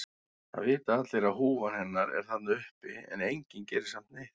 Það vita allir að húfan hennar er þarna uppi en enginn gerir samt neitt.